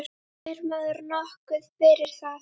Fær maður nokkuð fyrir það?